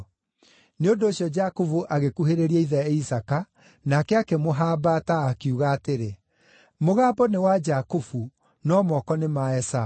Nĩ ũndũ ũcio Jakubu agĩkuhĩrĩria ithe Isaaka, nake akĩmũhambata, akiuga atĩrĩ, “Mũgambo nĩ wa Jakubu, no moko nĩ ma Esaũ.”